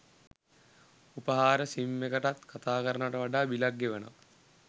උපහාර SIM එකටත් කතා කරනව‍ට වඩා බිලක් ගෙවනවා